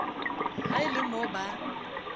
ha e le mo ba